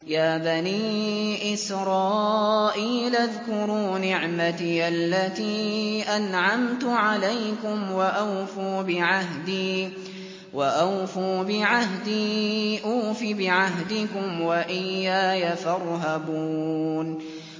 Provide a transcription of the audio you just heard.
يَا بَنِي إِسْرَائِيلَ اذْكُرُوا نِعْمَتِيَ الَّتِي أَنْعَمْتُ عَلَيْكُمْ وَأَوْفُوا بِعَهْدِي أُوفِ بِعَهْدِكُمْ وَإِيَّايَ فَارْهَبُونِ